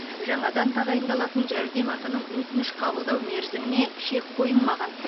жаңадан тағайындалатын жәрдемақының өтініш қабылдау мерзіміне шек қойылмаған